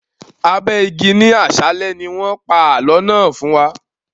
Abẹ igi ni àsálẹ́ ni wọn pa àálọ́ náà fún wa.